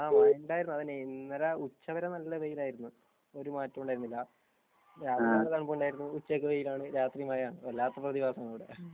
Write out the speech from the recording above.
ആഹ് മഴയുണ്ടായിരുന്നു . ഇന്നലെ ഉച്ചവരെ നല്ല വെയിൽ ഉണ്ടായിരുന്നു ഒരു മാറ്റവുമില്ല. രാവിലെ നല്ല തണുപ്പ് ഉണ്ടായിരുന്നു ഉച്ചക്ക് നല്ല വെയിൽ രാത്രി മഴ എല്ലാ പ്രതിഭാസവും ഉണ്ടിവിടെ